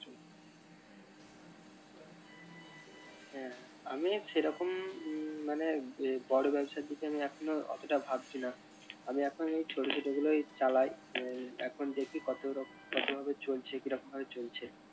হ্যাঁ আমি সেরকম মানে ইয়ে বড় ব্যবসার দিকে এখন অতটা ভাবছি না আমি এখনই ছোট ছোট গুলোই চালাই আহ এখন দেখি কত রক~ কত ভাবে চলছে কি রকম ভাবে চলছে।